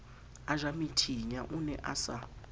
ejamethinya o ne a sa